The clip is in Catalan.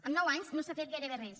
en nou anys no s’ha fet gairebé res